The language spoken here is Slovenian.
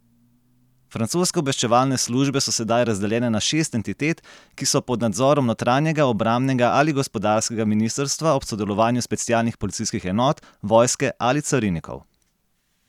Francoske obveščevalne službe so sedaj razdeljene na šest entitet, ki so pod nadzorom notranjega, obrambnega ali gospodarskega ministrstva ob sodelovanju specialnih policijskih enot, vojske ali carinikov.